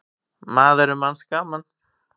Maður er manns gaman.